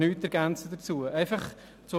Ich ergänze nichts dazu.